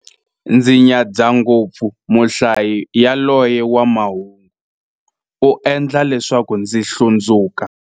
Ndzi nyadza ngopfu muhlayi yaloye wa mahungu, u endla leswaku ndzi hlundzuka.